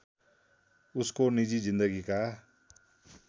उसको निजी जिन्दगीका